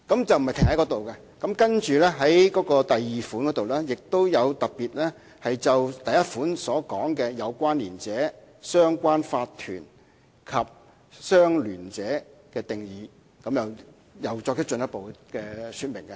此外，有關內容並非停在這裏，在第2款中亦特別就第1款提到的有關連者、相聯法團及相聯者的定義再作進一步的說明。